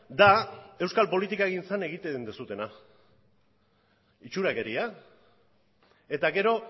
da euskal politikagintzan egiten duzuena itxurakeria eta gero